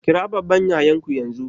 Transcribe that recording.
Kira babban yayan ku yanzu!